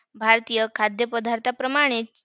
नमस्कार माझं नाव विघ्नेश हनुमंत पवार आहे. मी कळव्यात राहतो.